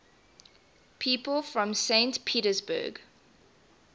people from saint petersburg